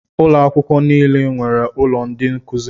Ụlọ akwụkwọ nile nwere ụlọ ndị nkụzi.